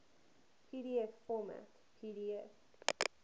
pdf format pdf